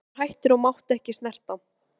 Hann var hættur og mátti ekki snerta.